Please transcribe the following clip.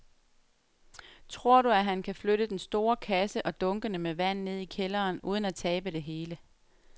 Tror du, at han kan flytte den store kasse og dunkene med vand ned i kælderen uden at tabe det hele?